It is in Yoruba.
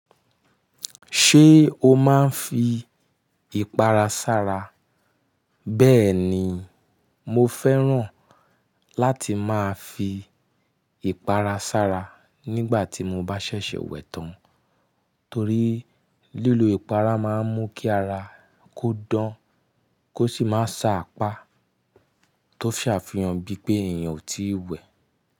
Ṣé o máa ń fi ìpara sára? Bẹ́ẹ̀ni, mo fẹ́ràn láti máa fi ìpara sára nígbà tí mo bá ṣẹ̀ṣẹ̀ wẹ̀ tán, torí lílo ìpara máa ń mú kí ara kó dán kó sì máa sa apá tó ṣe àfihàn bí pé èèyàn ò tíì wẹ̀